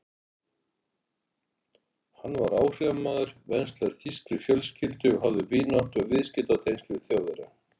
Hann var áhrifamaður, venslaður þýskri fjölskyldu og hafði vináttu- og viðskiptatengsl við Þjóðverja.